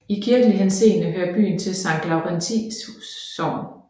I kirkelig henseende hører byen til Sankt Laurentii Sogn